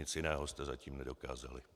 Nic jiného jste zatím nedokázali.